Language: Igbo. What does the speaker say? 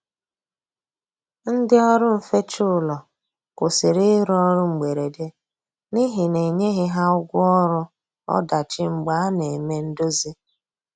Ndi ọrụ nfecha ụlọ kwusịrị irụ ọrụ mgberede n'ihi na enyeghi ha ụgwọ ọrụ ọdachi mgbe a na eme ndozi